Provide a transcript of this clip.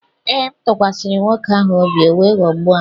Ee, m tụkwasịrị nwoke ahụ obi, o wee ghọgbuo m